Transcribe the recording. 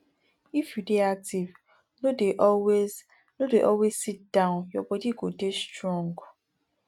if you dey active no dey always no dey always sit down your body go dey strong